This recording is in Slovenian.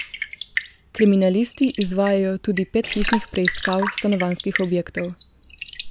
Kriminalisti izvajajo tudi pet hišnih preiskav stanovanjskih objektov.